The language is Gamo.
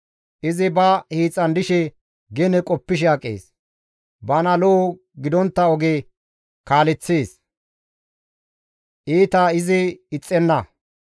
Izi ba hiixan dishe gene qoppishe aqees; bana lo7o gidontta oge kaaleththees; iita izi ixxenna.